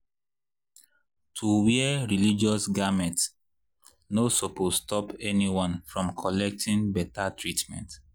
.— to wear religious garment no supose stop anyone from collecting better treatment.